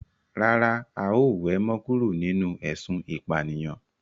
Rárá, a ó we mo kúrò nínú ésun ìpànìyàn